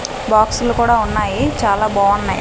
Box లు కూడా ఉన్నాయి చాలా బావున్నాయ్.